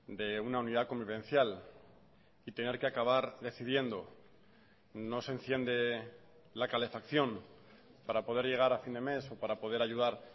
de una unidad convivencial y tener que acabar decidiendo no se enciende la calefacción para poder llegar a fin de mes o para poder ayudar